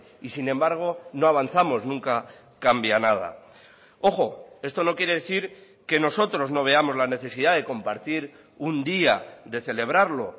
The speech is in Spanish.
y sin embargo no avanzamos nunca cambia nada ojo esto no quiere decir que nosotros no veamos la necesidad de compartir un día de celebrarlo